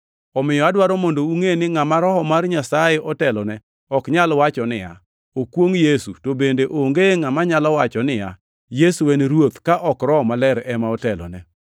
Omiyo, adwaro mondo ungʼe ni ngʼama Roho mar Nyasaye otelone ok nyal wacho niya, “Okwongʼ Yesu” to bende onge ngʼama nyalo wacho niya, “Yesu en Ruoth” ka ok Roho Maler ema otelone.